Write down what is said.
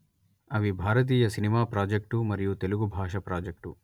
అవి భారతీయ cinema project మరియు తెలుగు బాష ప్రాజెక్టు